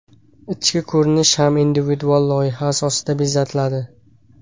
Ichki ko‘rinish ham individual loyiha asosida bezatiladi.